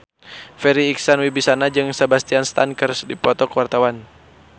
Farri Icksan Wibisana jeung Sebastian Stan keur dipoto ku wartawan